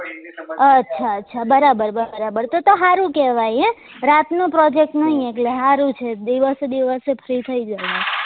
અચ્છા અચ્છા બરાબર બરાબર તો તો હારું કેવાય હ રાત નો project નહી એટલે હારું છે દિવસે દિવસે free થઇ જવાય